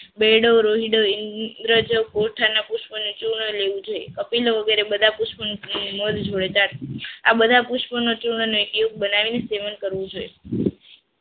બેડો રોઈડો ધીરજ પોતાના પુષ્પને ચૂર્ણ લેવું જોઈએ અપીલ વગેરે બધા પુષ્પોનું મધ જોડે જાડુ આ બધા પુષ્પનું ચૂર્ણ એક બનાવીને સેવન કરવું જોઈએ